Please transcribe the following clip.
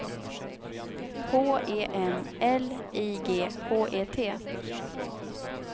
H E M L I G H E T